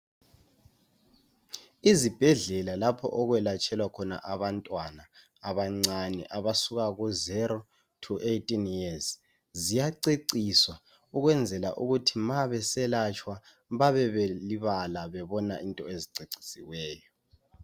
Izibhedlela lapho okwelatshelwa khona abantwana abancane abasuka ku 0to 18 years ziyaceciswa ukwenzela ukuthi ma beselatshwa babe belibala bebona into ezicecisiweyo .